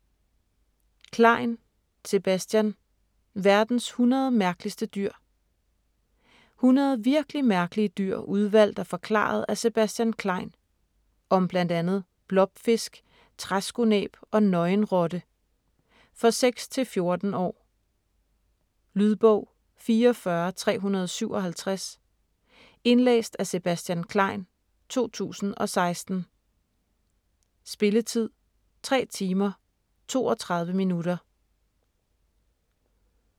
Klein, Sebastian: Verdens 100 mærkeligste dyr 100 virkelig mærkelige dyr udvalgt og forklaret af Sebastian Klein. Om bl.a. blobfisk, træskonæb og nøgenrotte. For 6-14 år. Lydbog 44357 Indlæst af Sebastian Klein, 2016. Spilletid: 3 timer, 32 minutter.